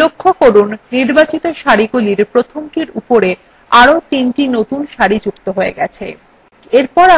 লক্ষ্য করুন নির্বাচিত সারিগুলির প্রথমটির উপরে চারটি নতুন সারি যুক্ত হয়েছে